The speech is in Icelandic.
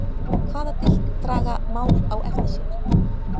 Hvaða dilk draga mál á eftir sér?